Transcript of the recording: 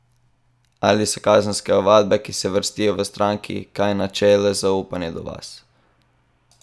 Ali so kazenske ovadbe, ki se vrstijo, v stranki kaj načele zaupanje do vas?